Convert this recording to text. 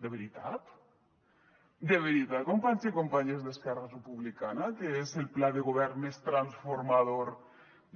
de veritat de veritat companys i companyes d’esquerra republicana que és el pla de govern més transformador